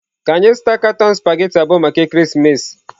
Ka anyị zụta katọn spaghetị abụọ maka ekeresimesi.